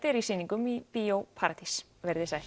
er í sýningum í Bíó paradís veriði sæl